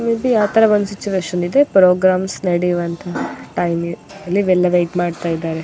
ಇದು ಯಾವ್ತ ಒಂದು ಸಿಚುಯೇಶನ್ ಇದೆ. ಪ್ರೋಗ್ರಾಮ್ಸ್ ನಡೀವಂತಹ ಟೈಮ್ ಗೆ ಇಲ್ಲಿ ಎಲ್ಲ ವೇಯಿಟ್ ಮಾಡ್ತ ಇದ್ದಾರೆ --